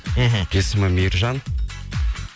мхм есімі мейіржан